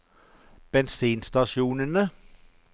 bensinstasjonene